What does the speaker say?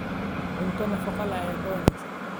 Cunto nafaqo leh ayaa ka wanaagsan.